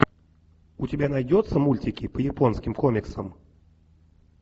у тебя найдется мультики по японским комиксам